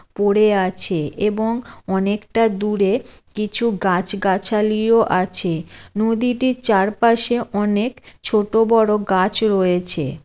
পড়ে আছে এবং অনেকটা দূরে কিছু গাছ গাছালিও আছে নদীটির চারপাশে অনেক ছোট বড় গাছ রয়েছে ।